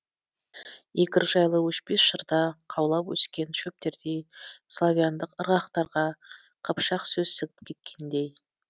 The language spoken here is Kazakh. игорь жайлы өшпес жырда қаулап өскен шөптердей славяндық ырғақтарға қыпшақсөз сіңіп кеткендей